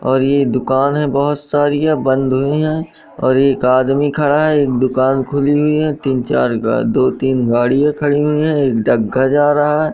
और ये दुकान है बहोत सारीया बंद हुई हैं और एक आदमी खड़ा है एक दुकान खुली हुई हैं तीन चार गा दो तीन गाड़ियां खड़ी हुई हैं एक डग्गा जा रहा है।